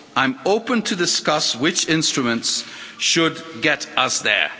I'm open to discuss which instruments should get us there.